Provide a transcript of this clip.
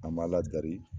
An ma ladari